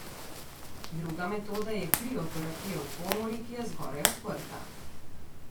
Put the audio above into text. Druga metoda je krioterapija v komori, ki je zgoraj odprta.